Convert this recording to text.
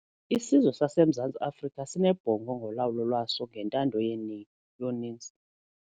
Isizwe saseMzantsi Afrika sinebhongo ngolawulo lwaso ngentando yoninzi.